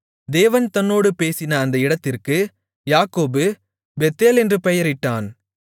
தேவன் தன்னோடு பேசின அந்த இடத்திற்கு யாக்கோபு பெத்தேல் என்று பெயரிட்டான்